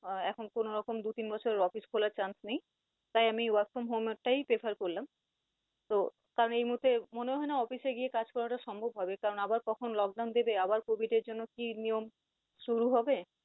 আহ এখন কোন রকম দু তিন বছর office খোলার chance নেই। তাই আমি work from home এর টাই prefer করলাম। তো কারন এই মুহূর্তে মনে হয় না office গিয়ে কাজ করাটা সম্ভব হবে কারন আবার কখন lockdown দেবে, আবার কভিড এর জন্য কি নিয়ম শুরু হবে